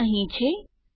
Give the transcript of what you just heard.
તે અહીં છે